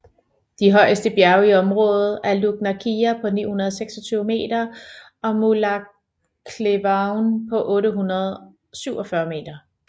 De højeste bjerge i området er Lugnaquilla på 926 m og Mullaghcleevaun på 847 m